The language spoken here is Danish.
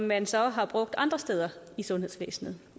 man så brugt andre steder i sundhedsvæsenet